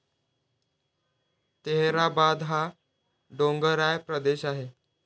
तेहराबाद हा डोंगराळ प्रदेश आहे